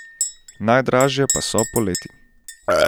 Najdražje pa so poleti.